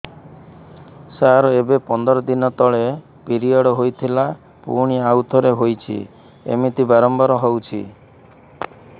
ସାର ଏବେ ପନ୍ଦର ଦିନ ତଳେ ପିରିଅଡ଼ ହୋଇଥିଲା ପୁଣି ଆଉଥରେ ହୋଇଛି ଏମିତି ବାରମ୍ବାର ହଉଛି